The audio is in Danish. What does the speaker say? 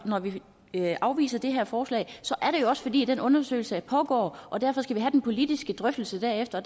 når vi afviser det her forslag er det jo også fordi den undersøgelse pågår og derfor skal vi have den politiske drøftelse derefter